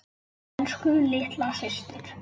Elsku litla systir.